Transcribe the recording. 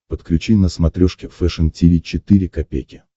подключи на смотрешке фэшн ти ви четыре ка